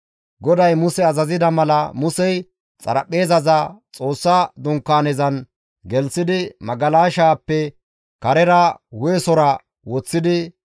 GODAY Muse azazida mala, Musey xaraphpheezaza Xoossa Dunkaanezan gelththidi, magalashaappe karera hu7esora woththidi,